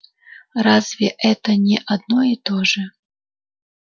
разве это не одно и то же